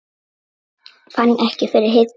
Fann ekki fyrir hita